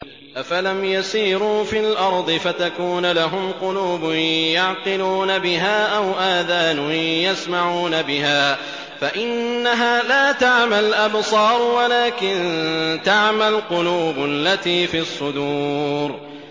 أَفَلَمْ يَسِيرُوا فِي الْأَرْضِ فَتَكُونَ لَهُمْ قُلُوبٌ يَعْقِلُونَ بِهَا أَوْ آذَانٌ يَسْمَعُونَ بِهَا ۖ فَإِنَّهَا لَا تَعْمَى الْأَبْصَارُ وَلَٰكِن تَعْمَى الْقُلُوبُ الَّتِي فِي الصُّدُورِ